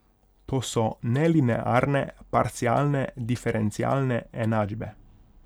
To so nelinearne parcialne diferencialne enačbe.